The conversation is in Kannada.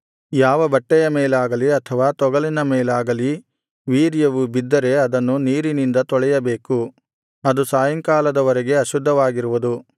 ಯಾವ ಬಟ್ಟೆಯ ಮೇಲಾಗಲಿ ಅಥವಾ ತೊಗಲಿನ ಮೇಲಾಗಲಿ ವೀರ್ಯವು ಬಿದ್ದರೆ ಅದನ್ನು ನೀರಿನಿಂದ ತೊಳೆಯಬೇಕು ಅದು ಸಾಯಂಕಾಲದ ವರೆಗೆ ಅಶುದ್ಧವಾಗಿರುವುದು